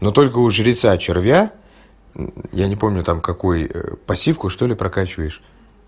но только у жреца червя я не помню там какой пассивку что-ли прокачиваешь